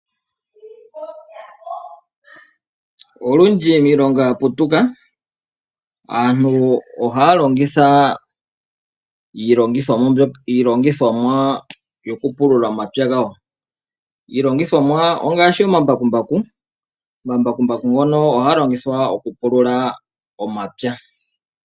Olundji miilongo ya putuka aantu ohaya longitha iilongithomwa yokupulula omapya gawo. Iilongithomwa ongaashi omambakumbaku. Omambakumbaku ngono ohaga longithwa okupulula omapya.